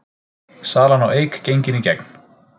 Salan á Eik gengin í gegn